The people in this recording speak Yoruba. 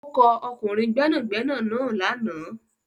Ó kọ ọkùnrin gbẹ́nàgbẹ́nà náà lànà.